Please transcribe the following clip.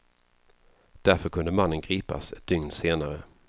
Därför kunde mannen gripas ett dygn senare.